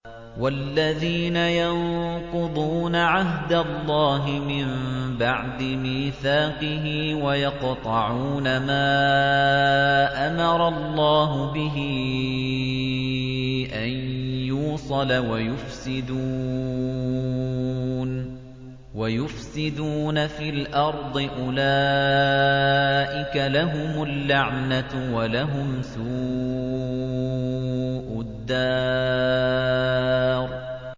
وَالَّذِينَ يَنقُضُونَ عَهْدَ اللَّهِ مِن بَعْدِ مِيثَاقِهِ وَيَقْطَعُونَ مَا أَمَرَ اللَّهُ بِهِ أَن يُوصَلَ وَيُفْسِدُونَ فِي الْأَرْضِ ۙ أُولَٰئِكَ لَهُمُ اللَّعْنَةُ وَلَهُمْ سُوءُ الدَّارِ